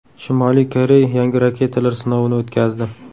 Shimoliy Koreya yangi raketalar sinovini o‘tkazdi.